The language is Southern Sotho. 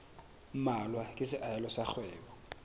mmalwa ke seahelo sa kgwebo